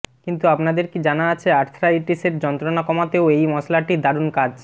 কিন্তু আপনাদের কি জানা আছে আর্থ্রাইটিসের যন্ত্রণা কমাতেও এই মশলাটি দারুন কাজ